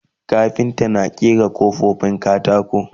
kafinta na ƙera kofofin katako